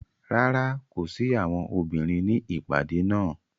Rárá, ko si awọn obinrin ni ipade naa.